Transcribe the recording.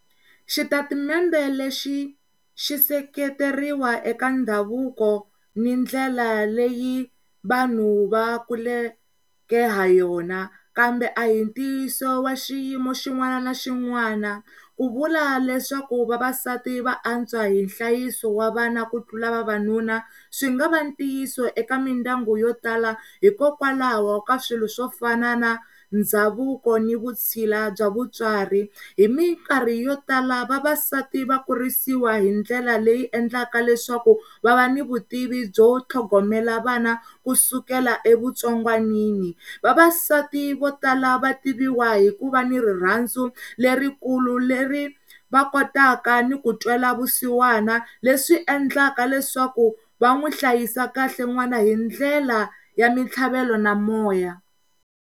Xitatimende lexi xi seketeriwa eka ndhavuko ni ndlela leyi vanhu va kuleke ha yona kambe a hi ntiyiso wa xiyimo xin'wana na xin'wana ku vula leswaku vavasati va antswa hi nhlayiso wa vana ku tlula vavanuna swi nga va tiyisa eka mindyangu yo tala hikokwalaho ka swilo swo fana na ndhavuko ni vutshila bya vutswari hi mikarhi yo tala vavasati va kurisiwa hi ndlela leyi endlaka leswaku va va ni vutivi byo tlhongomela vana kusukela evutsongwanini. Vavasati vo tala va tiviwa hikuva ni rirhandzu lerikulu le ri va kotaka ni ku twela vusiwana leswi endlaka leswaku va n'wi hlayisa kahle n'wana hi ndlela ya mitlhavelo na moya